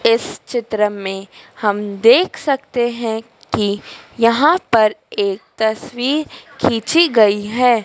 इस चित्र में हम देख सकते हैं कि यहां पर एक तस्वीर खींची गई है।